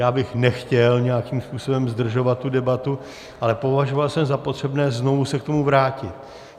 Já bych nechtěl nějakým způsobem zdržovat tu debatu, ale považoval jsem za potřebné znovu se k tomu vrátit.